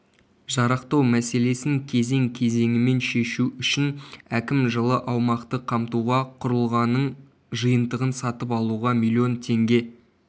жарақтау мәселесін кезең-кезеңімен шешу үшін әкім жылы аумақты қамтуға құрылғаның жиынтығын сатып алуға млн теңге